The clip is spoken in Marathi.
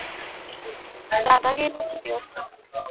दादा गेला किती वाजता?